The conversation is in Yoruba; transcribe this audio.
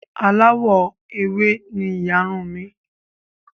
Aláwọ̀ ewé ni ìyarun uǹ mi